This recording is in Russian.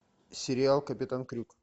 сериал капитан крюк